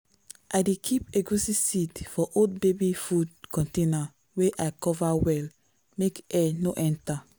i dey keep egusi seed for old baby food container wey i cover well make air no enter.